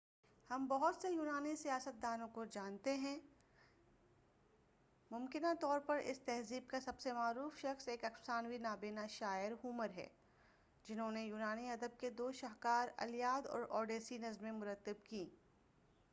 ہم بہت سے یونانی سیاستدانوں سائنسدانوں اور فنکاروں کو جانتے ہیں ممکنہ طور پر اس تہذیب کا سب سے معروف شخص ایک افسانوی نابینہ شاعر ہومر ہے جنہوں نے یونانی ادب کے دو شاہکاریں الییاد اور اوڈیسی نظمیں مرتب کیں